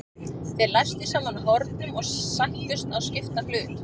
Þeir læstu saman hornum og sættust á skiptan hlut.